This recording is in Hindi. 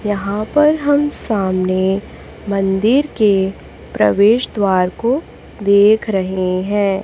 यहां पर हम सामने मंदिर के प्रवेश द्वार को देख रहे हैं।